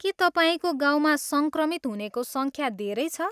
के तपाईँको गाउँमा सङ्क्रमित हुनेको सङख्या धेरै छ ?